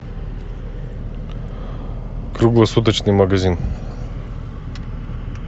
круглосуточный магазин